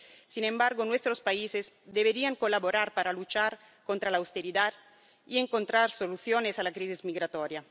Sin embargo, nuestros países deberían colaborar para luchar contra la austeridad y encontrar soluciones a la crisis migratoria.